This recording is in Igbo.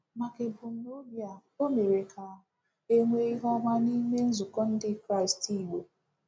Maka ebumnobi a, o mere ka e nwee ihe ọma n’ime nzukọ Ndị Kraịst Igbo.